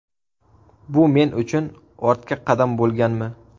Bu men uchun ortga qadam bo‘lganmi?